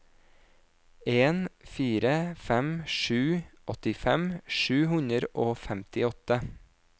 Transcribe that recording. en fire fem sju åttifem sju hundre og femtiåtte